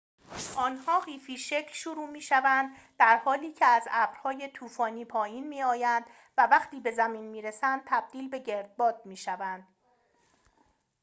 آنها قیفی شکل شروع می‌شوند در حالی که از ابرهای طوفانی پایین می‌آیند و وقتی به زمین می‌رسند تبدیل به گردباد می‌شوند